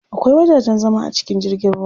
Akwai wajajen zama a cikin jirgin ruwa.